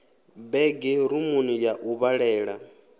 bege rumuni ya u vhalela